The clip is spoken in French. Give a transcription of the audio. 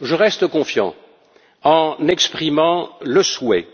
Je reste confiant en exprimant le souhait